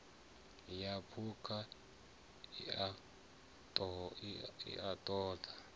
ya phukha i a ṱo